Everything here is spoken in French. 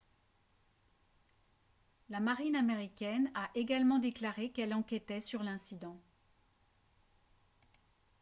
la marine américaine a également déclaré qu'elle enquêtait sur l'incident